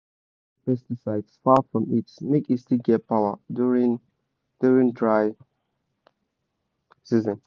keep your pesticide far from heat make e still get power during during dry season.